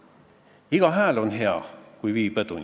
Sa märkisid, et sunniraha määrad on ajale jalgu jäänud, devalveerunud.